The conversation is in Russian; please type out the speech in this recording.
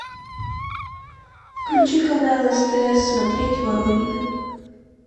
включи канал стс смотреть воронины